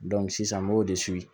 sisan n b'o de